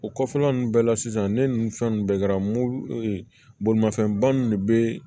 O kɔfɛla nunnu bɛɛ la sisan ne nun fɛn nunnu bɛɛ kɛra muɲɛnba nunnu de be